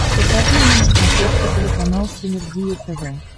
покажи мне на смотрешке телеканал синергия тв